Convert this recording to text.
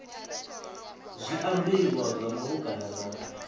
zwa ambiwa zwa malugana na